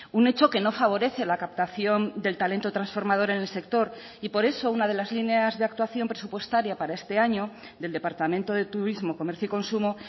un hecho que no favorece la captación del talento transformador en el sector y por eso una de las líneas de actuación presupuestaria para este año del departamento de turismo comercio y consumo